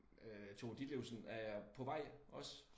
Øh Tove Ditlevsen er jeg på vej også